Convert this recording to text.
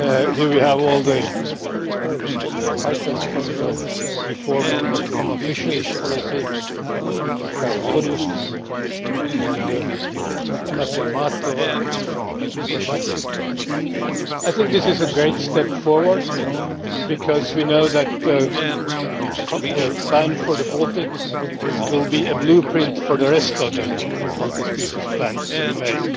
Here we have all the fighters from the reform of the common fisheries policy, with Mrs Rodust and Gabriel Mato and Mr Gróbarczyk. I think this is a great step forward because we know that the plan for the Baltic will be a blueprint for the rest of the multi species plans to be made.